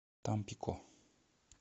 тампико